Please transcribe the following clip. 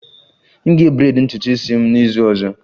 M ga-braid ntutu isi m n'izu ọzọ